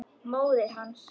Móðir hans!